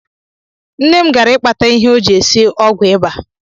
Nne m gara ịkpata ihe o ji esi ọgwụ iba